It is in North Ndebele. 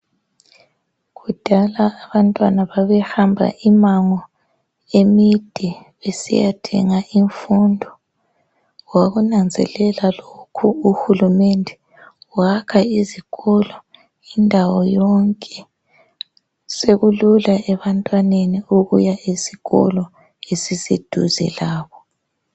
Kudala abantwana babehamba imango emide besiyathenga imfundo. Wakunanzelela lokhu uhulumende wakha izikolo indawo yonke. Sekulula ebantwaneni ukuya esikolo esiseduze labo.